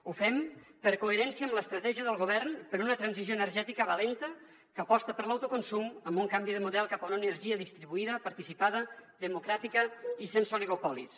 ho fem per coherència amb l’estratègia del govern per una transició energètica valenta que aposta per l’autoconsum amb un canvi de model cap a una energia distribuïda participada democràtica i sense oligopolis